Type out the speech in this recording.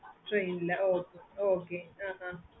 okay mam